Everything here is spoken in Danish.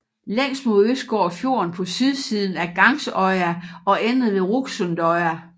Længst mod øst går fjorden på sydsiden af Gangsøya og ender ved Rugsundøya